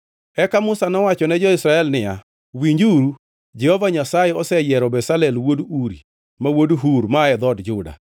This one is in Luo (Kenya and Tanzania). Eka Musa nowacho ne jo-Israel niya, “Winjuru, Jehova Nyasaye oseyiero Bezalel wuod Uri, ma wuod Hur, maa e dhood Juda,